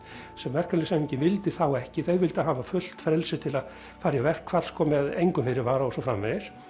sem verkalýðshreyfingin vildi þá ekki þau vildu hafa fullt frelsi til að fara í verkfall sko með engum fyrirvara og svo framvegis